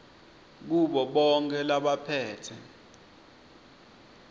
kubo bonkhe labaphetse